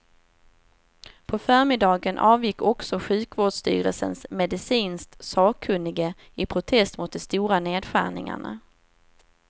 På förmiddagen avgick också sjukvårdsstyrelsens medicinskt sakkunnige i protest mot de stora nedskärningarna.